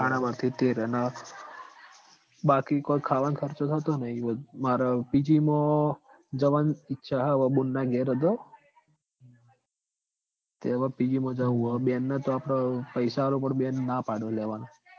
હાડા બાર થી તેર અન બાકી કોય ખાવાનો ખર્ચો થતો નહીં માર હવ PG માં જવાની ઈચ્છા છે અવ બુનના ઘેર અતો તે અવ PG માં જવું સ. બેન ન તો આપડ પૈસા આલવા પડ બેન ના પાડ સ લેવાનું